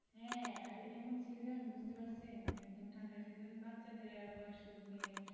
হ্যাঁ আর এমন season বুঝতে পারছেন একদম ঠান্ডার season বাচ্চাদের আর বয়স্কদের নিয়ে সমস্যা বেশি।